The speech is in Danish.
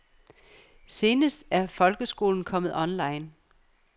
Senest er folkeskolen kommet online.